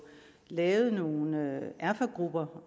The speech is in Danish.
lavet nogle erfagrupper